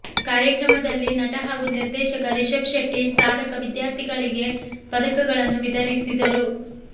ಕಾರ್ಯಕ್ರಮದಲ್ಲಿ ನಟ ಹಾಗೂ ನಿರ್ದೇಶಕ ರಿಷಬ್ ಶೆಟ್ಟಿ ಸಾಧಕ ವಿದ್ಯಾರ್ಥಿಗಳಿಗೆ ಪದಕಗಳನ್ನು ವಿತರಿಸಿದರು